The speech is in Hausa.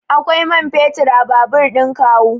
Akwai man fetur a babur ɗin kawu.